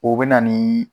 O bɛ na ni